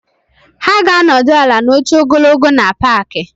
Ha ga-anọdụ ala na oche ogologo na paaki.